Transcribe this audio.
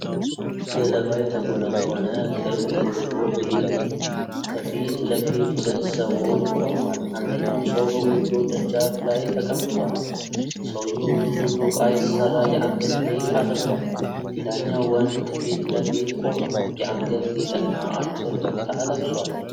ገለባ የተጎነጎነ ክብ ጎጆ ቤት ከፊት ለፊት ሁለት ሰዎች ቆመዋል። አንደኛው ሰው በጎጆው ደጃፍ ላይ ተቀምጧል። ሰውየው በብዙ ዶቃ የተሰራ የአንገት ጌጥ አድርጓል። ሌላኛው ወንድ ከፊት ለፊት ቆሟል፣ የአንገት ጌጥና አጭር ቁምጣ ለብሷል።